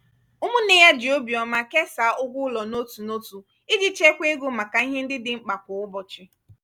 ụmụnne ya ji obiọma kesaa ụgwọ ụlọ n'otu n'otu iji chekwaa ego maka ihe ndị dị mkpa kwa ụbọchị.